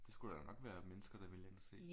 Det skulle der da nok være mennesker der ville ind og se